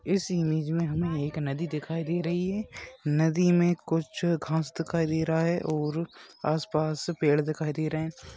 इस इमेज में हमें एक नदी दिखाई दे रही है। नदी में कुछ घांस दिखाई दे रहा है और आस-पास पेड़ दिखाई दे रहे हैं।